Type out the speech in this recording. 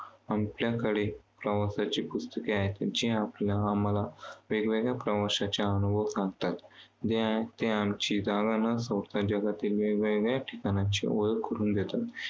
आपल्याकडे प्रवासाची पुस्तके आहेत. जे आपल्याला वेगवेगळ्या प्रवाशाच्या अनुभव सांगतात. जागा न सोडता वेगवेगळ्या ठिकाणांची ओळख करून देतात.